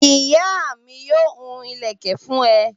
Ìyá mi yóò hun ìlẹ́kẹ̀ fún ẹ